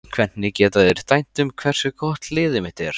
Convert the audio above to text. Hvernig geta þeir dæmt um hversu gott liðið mitt er?